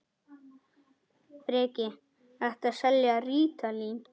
Breki: Ertu að selja rítalín?